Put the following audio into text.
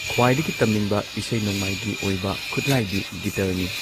ꯈ꯭ꯋꯥꯏꯗꯒꯤ ꯇꯝꯅꯤꯡꯕ ꯏꯁꯩ ꯅꯣꯡꯃꯥꯏꯒꯤ ꯑꯣꯏꯕ ꯈꯨꯠꯂꯥꯏꯗꯤ ꯒꯤꯇꯔꯅꯤ